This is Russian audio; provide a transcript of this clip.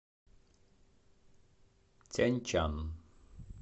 тяньчан